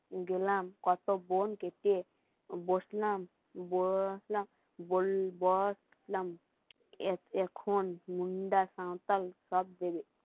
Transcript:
কত বোন গেটে বসলাম বসলাম এখন মুন্দা সাঁওতাল সব